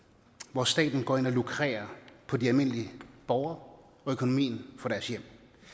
hvor staten går ind og lukrerer på de almindelige borgere og økonomien for deres hjem